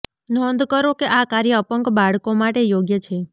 નોંધ કરો કે આ કાર્ય અપંગ બાળકો માટે યોગ્ય છે